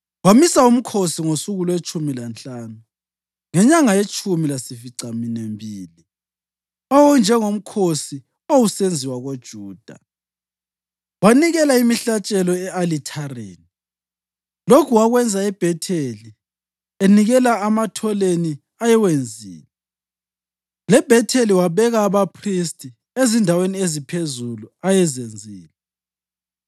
Wamisa umkhosi ngosuku lwetshumi lanhlanu ngenyanga yetshumi lasificaminwembili, owawunjengomkhosi owasusenziwa koJuda, wanikela imihlatshelo e-Alithareni. Lokhu wakwenza eBhetheli, enikela ematholeni ayewenzile. LeBhetheli wabeka abaphristi ezindaweni eziphezulu ayezenzile.